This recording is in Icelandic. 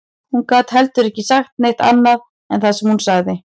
Hún gat heldur ekki sagt neitt annað en það sem hún sagði